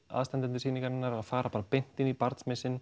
aðstandendur sýningarinnar að fara bara beint inn í